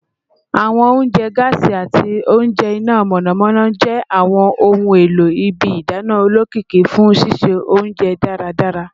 Awọn ounjẹ gaasi ati awọn ounjẹ ina mọnamọna jẹ awọn ohun elo ibi idana olokiki fun sise ounjẹ daradara